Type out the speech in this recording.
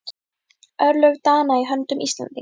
Örlög Dana í höndum Íslendinga?